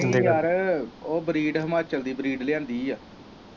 ਨਹੀਂ ਯਾਰ ਓ ਬਰੀਡ ਹਿਮਾਚਲ ਦੀ ਬਰੀਡ ਲਿਆਂਦੀ ਆ।